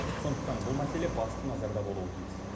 сондықтан бұл мәселе басты назарда болуы тиіс